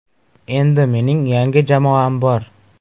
Endi mening yangi jamoam bor.